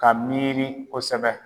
Ka miiri kosɛbɛ